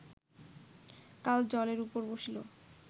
কাল জলের উপর বসিল